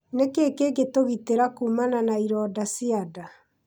Nĩ kĩĩ kĩngĩtũgitĩra kuumana na ironda cia nda?